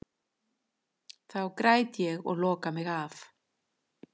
Þá græt ég og loka mig af.